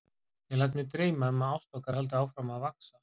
Ég læt mig dreyma um að ást okkar haldi áfram að vaxa.